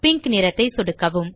pink நிறத்தை சொடுக்கவும்